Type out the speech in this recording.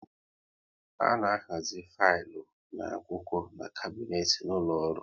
A na ahazi filu na akwụkwọ n'kabnet n'ụlọ ọrụ